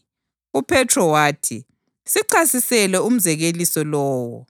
UPhethro wathi, “Sichasisele umzekeliso lowo.”